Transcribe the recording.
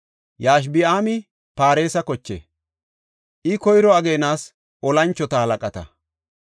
Yashobi7aami Paaresa koche; I koyro ageenas tora moconata.